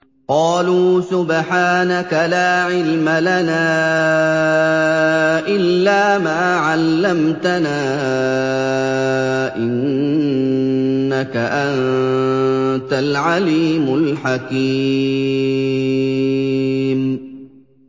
قَالُوا سُبْحَانَكَ لَا عِلْمَ لَنَا إِلَّا مَا عَلَّمْتَنَا ۖ إِنَّكَ أَنتَ الْعَلِيمُ الْحَكِيمُ